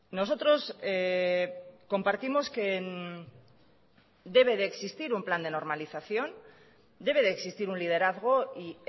nosotros compartimos que debe de existir un plan de normalización debe de existir un liderazgo y